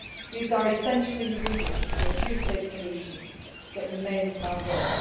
These are all essential ingredients for the two state solution that remains our